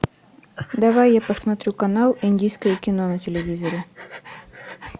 давай я посмотрю канал индийское кино на телевизоре